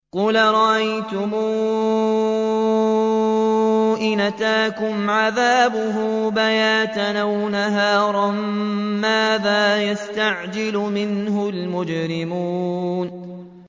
قُلْ أَرَأَيْتُمْ إِنْ أَتَاكُمْ عَذَابُهُ بَيَاتًا أَوْ نَهَارًا مَّاذَا يَسْتَعْجِلُ مِنْهُ الْمُجْرِمُونَ